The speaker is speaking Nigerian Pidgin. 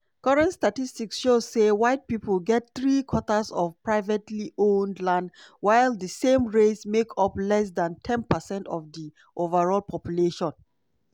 current statistics show say white pipo get three quarters of privately-owned land while di same race make up less dan ten percent of di overall population.